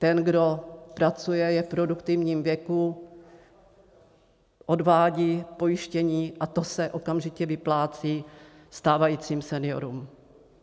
Ten, kdo pracuje, je v produktivním věku, odvádí pojištění a to se okamžitě vyplácí stávajícím seniorům.